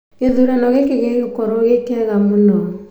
Gĩthurano gĩkĩ gĩgũkorwo gĩ kĩega mũno